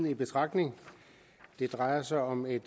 i betragtning det drejer sig om et